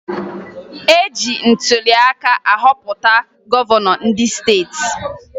E ji ntụliaka ahọpụta gọvanọ ndị steeti